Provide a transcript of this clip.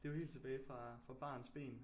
Det er jo helt tilbage fra fra barnsben